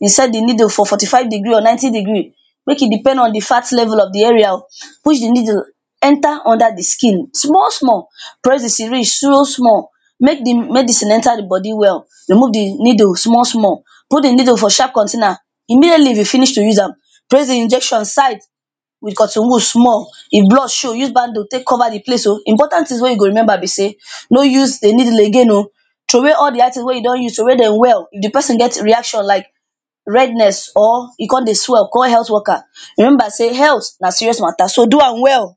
insert di needle for fourty five degree or ninety degree make e depend on di fat level of di area o, push di needle enter under di skin small small, press the syringe so small make di medicine enter di body well, remove di needle small small, put di needle for sharp container immediately you finish to use am press di injection side with cotton wool small, if blood show use bandage take cover di place o. Di important things mek you go remember be say no use di needle again o, throw way all di item wey you don use, throw way dem well, if di person get reaction like redness or e come dey swell, call health workers. Remember say health na serious matter, so do am well.